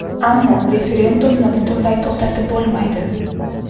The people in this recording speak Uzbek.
Ammo referendumni butunlay to‘xtatib bo‘lmaydi.